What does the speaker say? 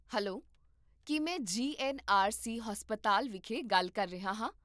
Hello! ਕੀ ਮੈਂ G N R C ਹਸਪਤਾਲ ਵਿਖੇ ਗੱਲ ਕਰ ਰਿਹਾ ਹਾਂ?